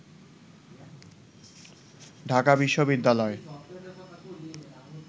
ঢাকা বিশ্ববিদ্যালয়